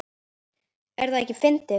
Er það ekki fyndið?